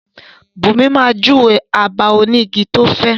Bunmi máa júwe abà onígi tí ó fẹ́.